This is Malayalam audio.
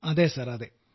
അതേ സർ അതേ